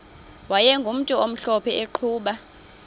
wayegumntu omhlophe eqhuba